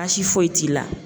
Baasi foyi t'i la.